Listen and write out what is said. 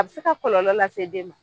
A bɛ se ka kɔlɔlɔ lase den ma